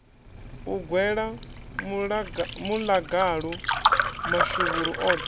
u gwela muḽagalu mashuvhuru oṱhe